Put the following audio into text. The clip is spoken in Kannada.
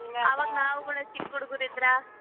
ನಾವು ಕೂಡ ಚಿಕ್ಕ್ ಹುಡ್ಗುರಿದ್ರ.